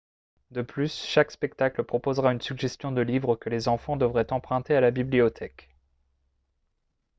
de plus chaque spectacle proposera une suggestion de livres que les enfants devraient emprunter à la bibliothèque